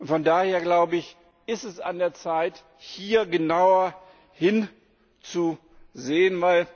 Von daher, glaube ich, ist es an der Zeit, hier genauer hinzusehen.